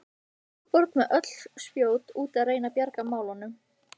Sólborg með öll spjót úti að reyna að bjarga málunum.